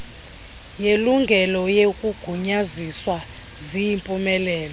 yelungelo neyokugunyaziswa ziyimpumelelo